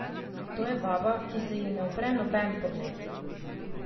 To je vaba, ki se ji ne upre noben pogled.